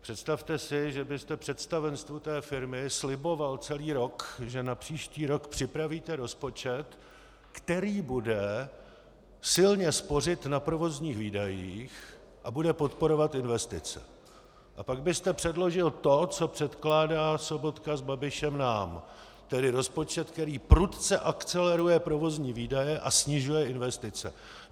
Představte si, že byste představenstvu té firmy sliboval celý rok, že na příští rok připravíte rozpočet, který bude silně spořit na provozních výdajích a bude podporovat investice, a pak byste předložil to, co předkládá Sobotka s Babišem nám, tedy rozpočet, který prudce akceleruje provozní výdaje a snižuje investice.